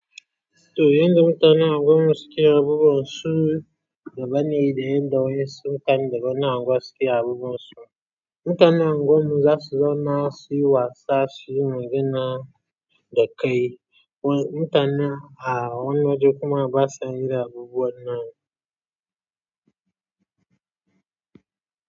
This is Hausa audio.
To yanda mutanen anguwanmu suke abubuwan su daban ne da yanda wasu mutanen daga wani anguwa suke abubuwan su. Mutanen anguwan mu zasu zauna suyi wasa suyi magana dakai. Mutane a wani waje kuma basa irin abubuwan nan.